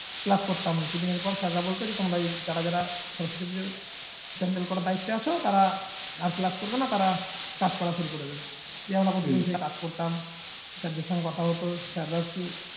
class করতাম না tiffin এর পর sir রা বলতো তোমরা যারা যারা সরস্বতী পুজো pandal করার দায়িত্বে আছো তারা আর class করবে না তারা কাজ করা শুরু করে দেবে, দিয়ে আমরা প্রতিদিন কাজ করতাম sir দের সঙ্গে কথা হতো sir রাও কিছু